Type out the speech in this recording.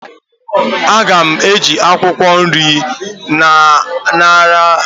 Aga m eji akwụkwọ nri anyara ahu sie ji oge na adịghị anya